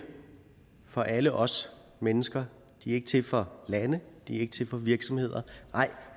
for alle os mennesker de ikke til for lande de er ikke til for virksomheder nej